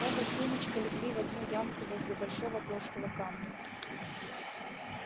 оба семечка легли в одну ямку возле большого плоского камня